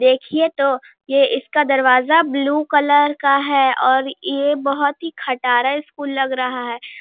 देखिये तो ये इसका दरवाजा ब्लू कलर का है और ये बहुत ही खटारा स्कूल लग रहा है।